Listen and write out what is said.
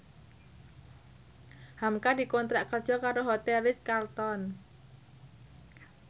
hamka dikontrak kerja karo Hotel Ritz Carlton